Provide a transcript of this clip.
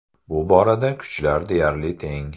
Bu borada kuchlar deyarli teng.